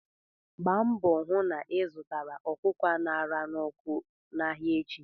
Gba mbọ hu na ị zụrụ ọkụkọ a ṅara n'ọkụ n'ahịa echi!